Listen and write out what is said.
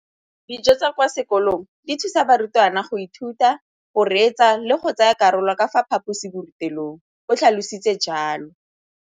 Dijo tsa kwa sekolong dithusa barutwana go ithuta, go reetsa le go tsaya karolo ka fa phaposiborutelong, o tlhalositse jalo.